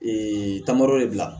Ee tamadɔ de bila